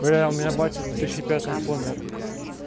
бля у меня батя в две тысячи пятом помер